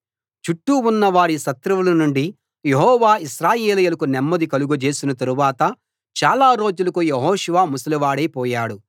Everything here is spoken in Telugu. చుట్టూ ఉన్న వారి శత్రువుల నుండి యెహోవా ఇశ్రాయేలీయులకు నెమ్మది కలుగ చేసిన తరువాత చాలా రోజులకు యెహోషువ ముసలివాడై పోయాడు